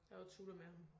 Jeg var tutor med ham